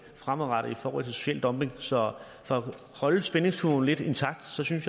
fremadrettet i forhold til social dumping så for at holde spændingskurven lidt intakt synes jeg